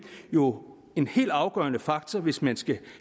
jo en helt afgørende faktor hvis man skal